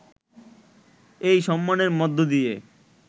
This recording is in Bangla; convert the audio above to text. এই সম্মানের মধ্য দিয়ে